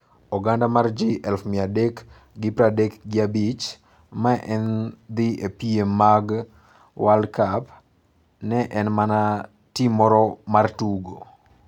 Oganda mar ji elufu mia adek gi pradek gi abich ma ne dhi e piem mag World Cup ne en mana tim moro mar tugo!